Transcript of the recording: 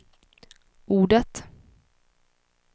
ordet